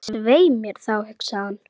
Svei mér þá, hugsaði hann.